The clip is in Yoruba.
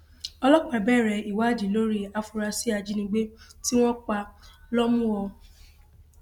ọlọpàá bẹrẹ ìwádìí lórí àfúráṣí ajínigbé tí wọn pa lọmùọ